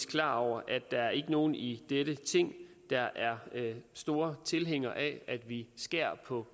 klar over at der ikke er nogen i dette ting der er store tilhængere af at vi skærer på